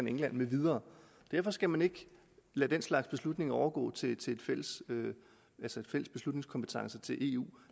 england med videre derfor skal man ikke lade den slags beslutninger overgå til fælles beslutningskompetence i eu